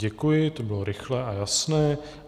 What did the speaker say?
Děkuji, to bylo rychlé a jasné.